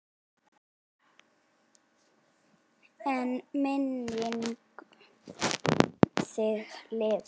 En minning um þig lifir.